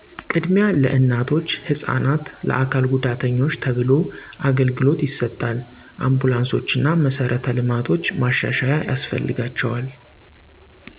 ቅድሚያ ለእናቶች፣ ህፃናት፣ ለአካል ጉዳተኞች ተብሎ አገልግሎት ይሰጣል። አንቡላንሶቾ እና መሰረተ ልማቶች ማዛዛያ ያስፈልጋቸዋል